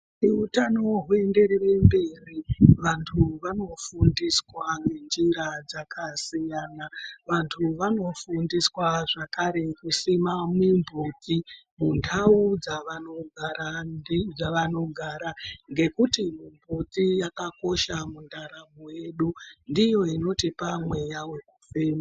Utano huenderere mberi vantu vanofundiswa njira dzakasiyana, vantu vanofundiswa zvakare kusima mimhodzi mundau dzavanogara ngekuti mbuti yakakosha mundaramon yedu, ndiyo inotipa mweya wekufema.